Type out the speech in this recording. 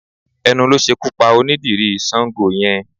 Ẹnu ló ṣekú pa onídìrí Sáńgo yẹn